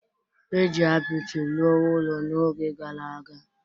e ji apịtị rụọ ụlọ n’oge gara aga